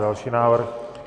Další návrh.